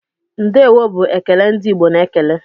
"Ndeewo" bụ ekele ndị Igbo na-ekele.